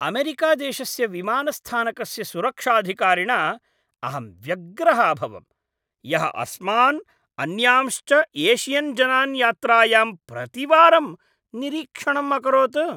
अमेरिकादेशस्य विमानस्थानकस्य सुरक्षाधिकारिणा अहं व्यग्रः अभवम्, यः अस्मान्, अन्यांश्च एशियन्जनान् यात्रायां प्रतिवारं निरीक्षणम् अकरोत्।